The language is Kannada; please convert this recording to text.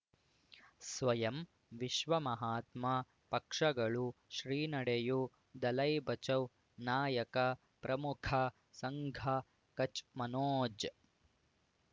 ಸ್ವಯಂ ವಿಶ್ವ ಮಹಾತ್ಮ ಪಕ್ಷಗಳು ಶ್ರೀ ನಡೆಯೂ ದಲೈ ಬಚೌ ನಾಯಕ ಪ್ರಮುಖ ಸಂಘ ಕಚ್ ಮನೋಜ್